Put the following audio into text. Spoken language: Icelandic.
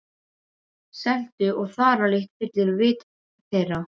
Seltu- og þaralykt fyllir vit þeirra.